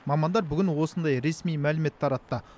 мамандар бүгін осындай ресми мәлімет таратты